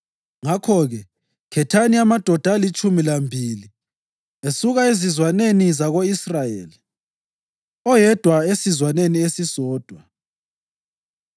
Ngakho-ke, khethani amadoda alitshumi lambili esuka ezizwaneni zako-Israyeli, oyedwa esizwaneni esisodwa.